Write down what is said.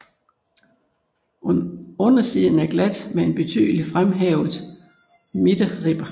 Undersiden er glat med en tydeligt fremhævet midterribbe